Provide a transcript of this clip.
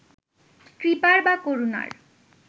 কৃপার বা করুণার